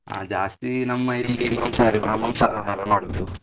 ಆ ಜಾಸ್ತಿ ನಮ್ಮ ಇಲ್ಲಿ ಮಾಂಸಾಹಾರಿ, ಮಾಂಸಾಹಾರ ಮಾಡೋದು.